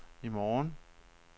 i morgen